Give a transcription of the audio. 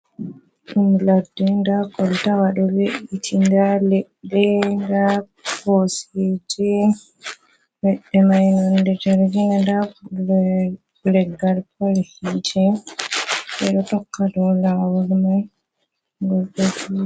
Ɗum ladde, ndaa koltaya ɗo we''iti, nda leɗɗe, nda Koseeje, leɗɗe man nonnde jargiina nda leggal pol hiite ɓe ɗo tokka dow laawol man.